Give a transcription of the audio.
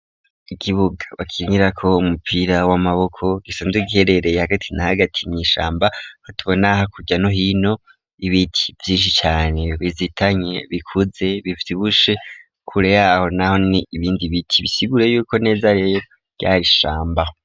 Ikibuga bakinira ko umupira w'amaboko, gisanzwe giherereye hagati na hagati ,n'ishamba hatubona ha kurya no hino, ibiti Vyinshi cane, bizitanye bikuze bivyibushe kure yaho naho ,ni ibindi biti bisigure yuko neza rero ,vyarishambaho.